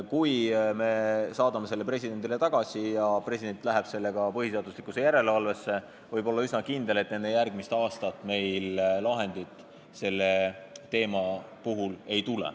Kui me saadame selle presidendile tagasi ja president läheb sellega põhiseaduslikkuse järelevalvesse, siis võib olla üsna kindel, et enne järgmist aastat meil lahendit ei tule.